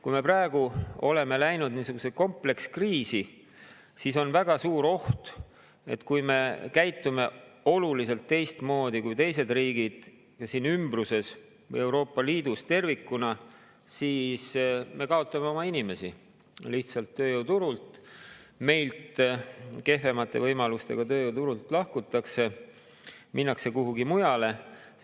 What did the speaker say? Kui me praegu oleme läinud niisugusesse komplekskriisi, siis on väga suur oht, et kui me käitume oluliselt teistmoodi kui teised riigid siin ümbruses ja Euroopa Liidus tervikuna, siis me lihtsalt kaotame oma inimesi tööjõuturul ja meilt, kehvemate võimalustega tööjõuturult lahkutakse, minnakse kuhugi mujale.